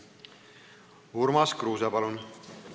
Urmas Kruuse, palun!